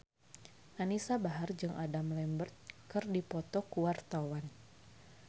Anisa Bahar jeung Adam Lambert keur dipoto ku wartawan